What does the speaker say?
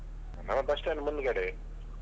Ah bus stand ಮುಂದ್ಗಡೆಯೇ.